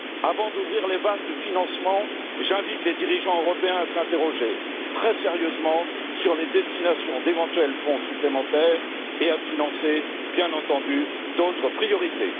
Avant d'ouvrir les vannes du financement, j'invite les dirigeants européens à s'interroger très sérieusement sur les destinations d'éventuels fonds supplémentaires et à financer, bien entendu, d'autres priorités.